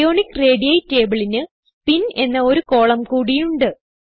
ionic radii tableന് spin എന്ന ഒരു കോളം കൂടി ഉണ്ട്